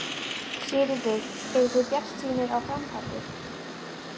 Sigríður: Eruð þið bjartsýnir á framhaldið?